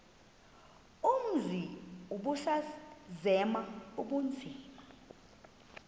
umzi ubusazema ukuzinza